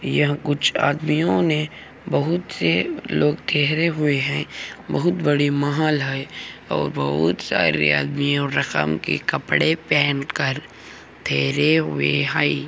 यहां कुछ आदमियों ने बहुत से लोग टहरे हुए है बहुत बड़ी महल है और बहुत सारी आदमियों रकम के कपड़े पहनकर ठहरे हुए हाई |